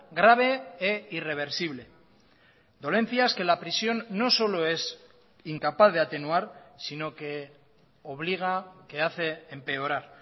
grave e irreversible dolencias que la prisión no solo es incapaz de atenuar sino que obliga que hace empeorar